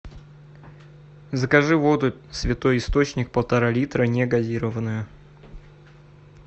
закажи воду святой источник полтора литра негазированную